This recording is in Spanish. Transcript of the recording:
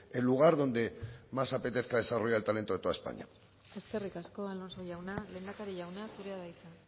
el lugar donde más apetezca desarrollar el talento de toda españa eskerrik asko alonso jauna lehendakari jauna zurea da hitza